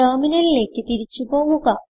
ടെർമിനലിലേക്ക് തിരിച്ചു പോവുക